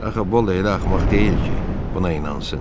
Axı Bolla elə axmaq deyil ki, buna inansın.